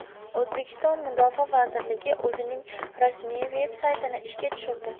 O‘zbekiston Mudofaa vazirligi o‘zining rasmiy veb-saytini ishga tushirdi.